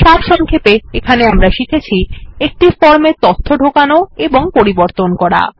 সারসংক্ষেপে আমরা শিখেছি একটি ফর্মে তথ্য ঢোকানো এবং পরিবর্তন করা